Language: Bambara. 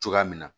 Cogoya min na